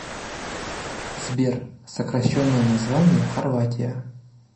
сбер сокращенное название хорватия